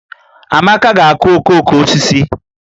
Amaka ga-akụ okooko osisi